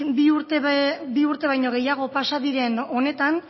bi urte baino gehiago pasa diren honetan